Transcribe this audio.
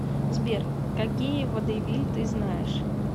сбер какие водевиль ты знаешь